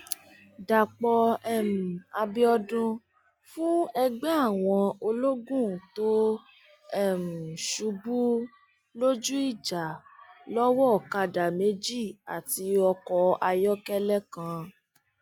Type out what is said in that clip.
dàpọ um àbíọdún fún ẹgbẹ àwọn ológun tó um ṣubú lójú ìjà lọwọ ọkadà méjì àti ọkọ ayọkẹlẹ kan